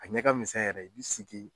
A ɲɛ ka misɛn yɛrɛ i bi sigi.